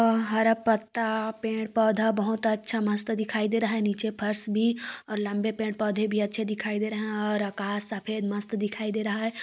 हरा पत्ता पेड़ पोधा बहुत अच्छा मस्त दिखाई दे रहा है नीचे फर्श भी और लंबे पेड़ पोधे भी अच्छे दिखाई दे रहे है और आकाश सफेद मस्त दिखाई दे रहा हैं।